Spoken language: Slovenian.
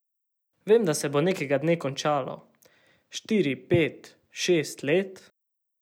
Vem, da se bo nekega dne končalo, štiri, pet, šest let?